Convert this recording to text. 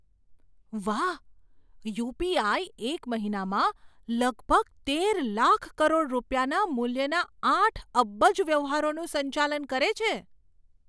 વાહ! યુ.પી.આઈ. એક મહિનામાં લગભગ તેર લાખ કરોડ રૂપિયાના મૂલ્યના આઠ અબજ વ્યવહારોનું સંચાલન કરે છે.